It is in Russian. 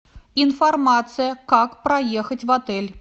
информация как проехать в отель